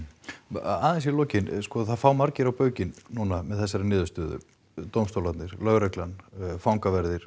aðeins í lokin það fá margir á baukinn núna með þessari niðurstöðu dómstólarnir lögreglan fangaverðir